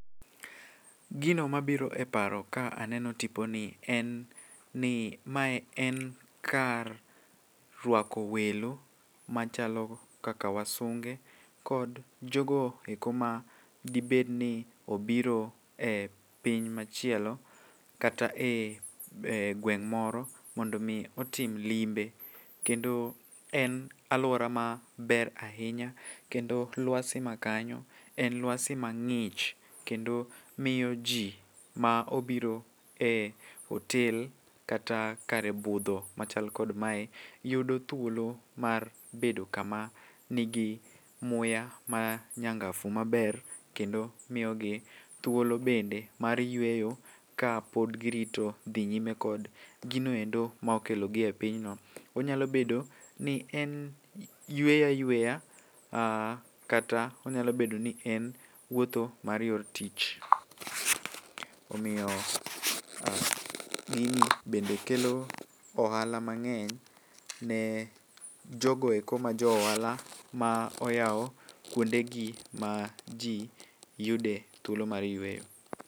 Gino mabiro e paro ka aneno tipo ni en ni mae en kar rwako welo machalo kaka wasunge, kod jogo eko ma dibedni obiro e piny machielo kata e gweng' moro mondo mi otim limbe. Kendo en alwora ma ber ahinya, kendo lwasi ma kanyo en lwasi ma ng'ich. Kendo miyo ji ma obiro e otel kata kar budho machal kod mae yudo thuolo mar bedo kama nigi muya ma nyangafu maber. Kendo miyogi thuolo bende mar yweyo ka pod girito dhi nyime kod ginoendo ma okelogi e pinyno. Onyalo bedo ni en yweyo ayweya, kata onyalo bedo ni en wuotho mar yor tich. Omiyo gini bende kelo ohala mang'eny ne jogoeko ma jo ohala ma oyawo kuonde gi ma ji yude thuolo mar yweyo.